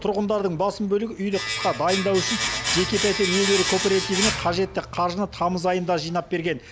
тұрғындардың басым бөлігі үйді қысқа дайындау үшін жеке пәтер иелері кооперативіне қажетті қаржыны тамыз айында жинап берген